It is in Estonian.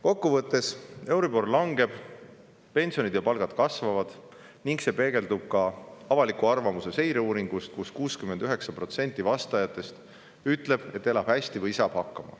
Kokku võttes: euribor langeb, pensionid ja palgad kasvavad ning see peegeldub ka avaliku arvamuse seireuuringus, mille järgi 69% vastajatest ütleb, et elab hästi või saab hakkama.